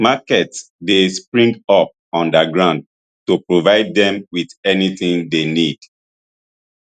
markets dey spring up underground to provide dem wit anytin dey need